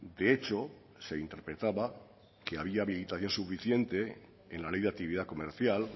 de hecho se interpretaba que había habilitación suficiente en la ley de actividad comercial